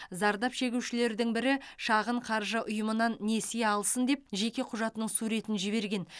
зардап шегушілердің бірі шағын қаржы ұйымынан несие алсын деп жеке құжатының суретін жіберген